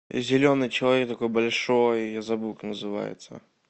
зеленый человек такой большой я забыл как называется